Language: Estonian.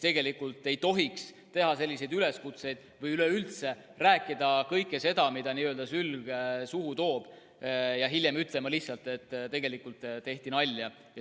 Ei tohiks teha selliseid üleskutseid või üleüldse rääkida kõike, mida sülg suhu toob, ja hiljem ütelda lihtsalt, et tegelikult tehti nalja.